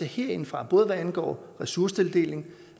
herindefra både hvad angår ressourcetildeling og